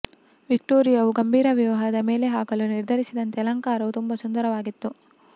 ವಿಕ್ಟೋರಿಯಾವು ಗಂಭೀರ ವಿವಾಹದ ಮೇಲೆ ಹಾಕಲು ನಿರ್ಧರಿಸಿದಂತೆ ಅಲಂಕಾರವು ತುಂಬಾ ಸುಂದರವಾಗಿತ್ತು